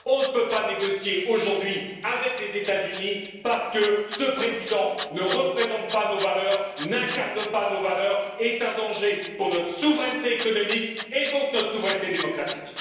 Non, on ne peut pas négocier aujourd'hui avec les États Unis, parce que président Trump ne représente pas nos valeurs, n'incarne pas nos valeurs, est un danger pour notre souveraineté économique et donc pour notre souveraineté démocratique.